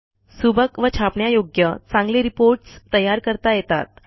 सुबक व छापण्यायोग्य चांगले रिपोर्टस् तयार करता येतात